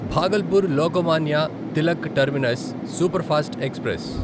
Bhagalpur Lokmanya Tilak terminus superfast express